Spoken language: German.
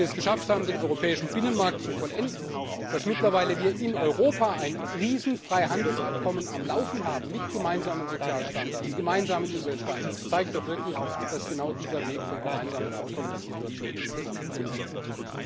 Dass wir es geschafft haben, den europäischen Binnenmarkt zu vollenden, dass wir mittlerweile in Europa ein Riesenfreihandelsabkommen am Laufen haben mit gemeinsamen Sozialstandards und gemeinsamen Umweltstandards, zeigt doch wirklich, dass genau dieser Weg von gemeinsamen Abkommen die Situation insgesamt verbessern kann.